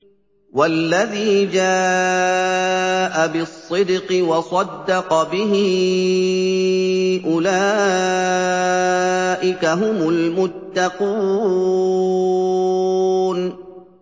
وَالَّذِي جَاءَ بِالصِّدْقِ وَصَدَّقَ بِهِ ۙ أُولَٰئِكَ هُمُ الْمُتَّقُونَ